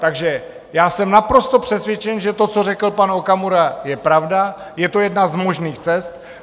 Takže já jsem naprosto přesvědčen, že to, co řekl pan Okamura, je pravda, je to jedna z možných cest.